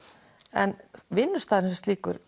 en vinnustaðurinn sem slíkur